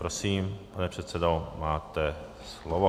Prosím, pane předsedo, máte slovo.